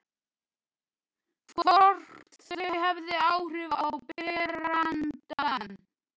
Hvort þau hafi áhrif á berandann.